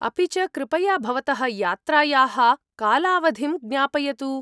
अपि च, कृपया भवतः यात्रायाः कालावधिं ज्ञापयतु।